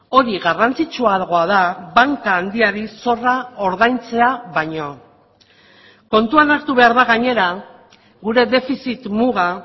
hori garrantzitsuagoa da banka handiari zorra ordaintzea baino kontuan hartu behar da gainera gure defizit muga